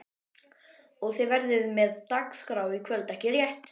Jóhann: Og þið verðið með dagskrá í kvöld ekki rétt?